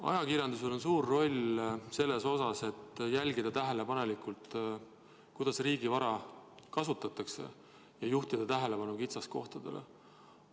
Ajakirjandusel on suur roll selles, et jälgida tähelepanelikult, kuidas riigi vara kasutatakse, ja juhtida tähelepanu kitsaskohtadele.